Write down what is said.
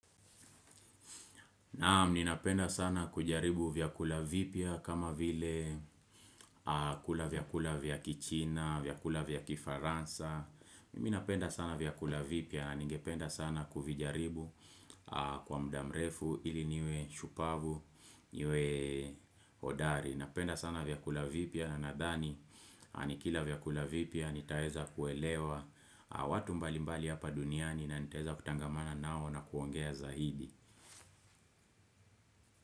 Naam, ninapenda sana kujaribu vyakula vipya kama vile kula vyakula vya kichina, vyakula vya kifaransa. Mimi napenda sana vyakula vipya na nigependa sana kuvijaribu. Kwa muda mrefu ili niwe shupavu niwe hodari napenda sana vyakula vipya na nadhani nikila vyakula vipya nitaweza kuelewa watu mbalimbali hapa duniani na nitaweza kutangamana nao na kuongea zaidi.